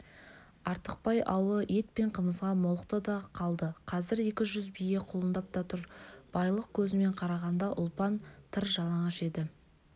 артықбай аулы ет пен қымызға молықты да қалды қазір екі жүз бие құлындап та тұр байлық көзімен қарағанда ұлпан тыр жалаңаш еді